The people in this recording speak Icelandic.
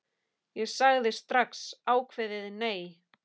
Ég sagði strax ákveðið nei.